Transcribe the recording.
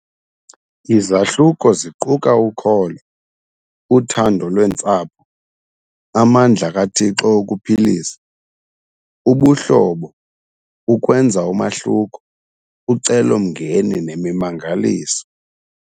Izahluko ziquka Ukholo, Uthando Lwentsapho, Amandla KaThixo Okuphilisa, Ubuhlobo, Ukwenza Umahluko, Ucelomngeni Nemimangaliso.